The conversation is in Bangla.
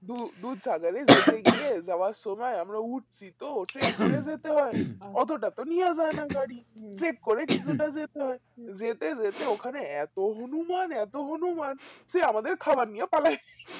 দু~ডুব সাগরে যেতে গিয়ে যাবার সময় আমরা উঠছি তো trick করে যেতে হয় অতটা তো নেওয়া যায়না গাড়ি trick করে কিছুটা যেতে হয় যেতে যেতে ওখানে এতো হনুমান এতো হনুমান যে আমাদের খাবার নিয়ে পালাইছে